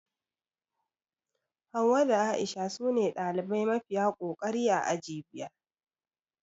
Hauwa da A'isha sune ɗalibai mafiya kokari a aji biyar